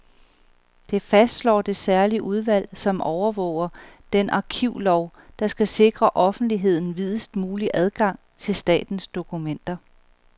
Det fastslår det særlige udvalg, som overvåger den arkivlov, der skal sikre offentligheden videst mulig adgang til statens dokumenter.